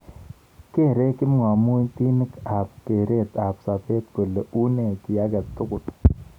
Kerei kipngamutik ab keret ab sabet kole unee ki age tugul.